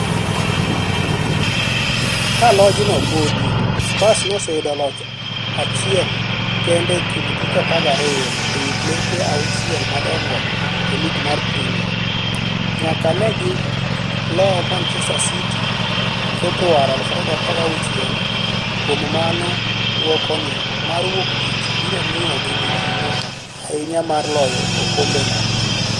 Kalojno podi, Spurs noseyudo loch achiel kende e kind tuke 12 e wi klepe auchiel madongo e lig mar premia, nyaka negi loo Manchester City Februari 2016, kuom mano duoko ni mar wuok tich biro miyo gi mijing'o ahinyamar loyo okombe no.